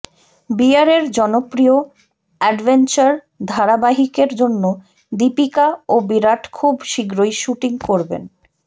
বিয়ারের জনপ্রিয় অ্যাডভেঞ্চার ধারাবাহিকের জন্য দীপিকা ও বিরাট খুব শীঘ্রই শ্যুটিং করবেন